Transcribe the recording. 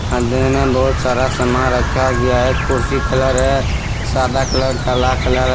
अंधे ने बहुत सारा सामान रखा गया है। कुर्सी कलर है सादा कलर काला कलर --